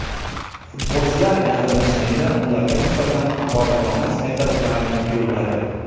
Futbolchilar yaqinlashganda ularga nisbatan haqoratomuz hayqiriqlarni yo‘lladi.